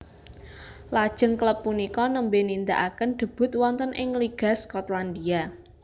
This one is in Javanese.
Lajeng klub punika nembè nindakaken debut wonten ing Liga Skotlandia